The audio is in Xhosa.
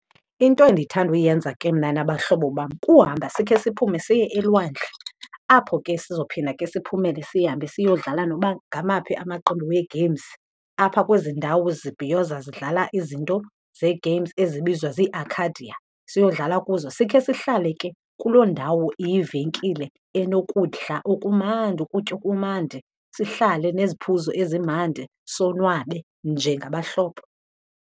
Into endithanda uyenza ke mna nabahlobo bam kuhamba sikhe siphume siye elwandle apho ke sizophinda ke siphumele sihambe siyodlala noba ngamaphi amaqembu wee-games apha kwezi ndawo zibhiyoza zidlala izinto zee-games ezibizwa zii-arcadia, siyodlala kuzo. Sikhe sihlale ke kuloo ndawo iyivenkile enokudla okumandi, ukutya okumandi, sihlale neziphuzo ezimandi sonwabe njengabahlobo.